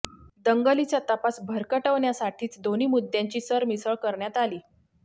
दंगलीचा तपास भरकटवण्यासाठीच दोन्ही मुद्द्यांची सरमिसळ करण्यात आली